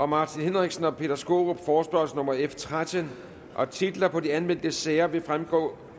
martin henriksen og peter skaarup forespørgsel nummer f tretten titler på de anmeldte sager vil fremgå